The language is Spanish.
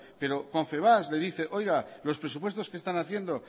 pero confebask le dice que los presupuestos que están haciendo